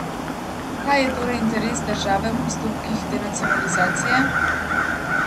Kaj je torej interes države v postopkih denacionalizacije?